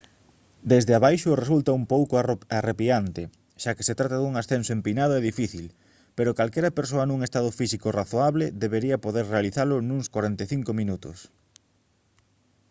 desde abaixo resulta un pouco arrepiante xa que se trata dun ascenso empinado e difícil pero calquera persoa nun estado físico razoable debería poder realizalo nuns 45 minutos